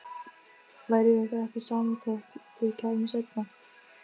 Væri ykkur ekki sama þótt þið kæmuð seinna?